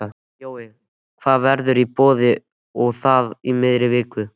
Jói, hvað verður í boði og það í miðri viku?